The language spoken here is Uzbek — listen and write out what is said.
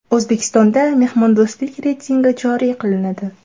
O‘zbekistonda mehmondo‘stlik reytingi joriy qilinadi.